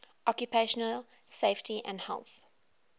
occupational safety and health